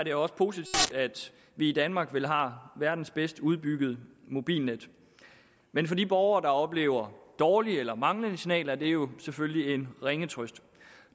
er også positivt at vi i danmark vel har verdens bedst udbyggede mobilnet men for de borgere der oplever dårlige eller manglende signaler er det jo selvfølgelig en ringe trøst